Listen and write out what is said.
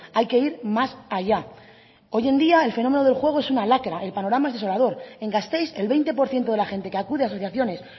hay que ir más allá hoy en día el fenómeno del juego es una lacra el panorama es desolador en gasteiz el veinte por ciento de la gente que acude a asociaciones